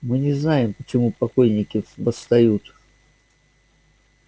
мы не знаем почему покойники восстают